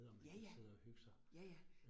Ja ja, ja ja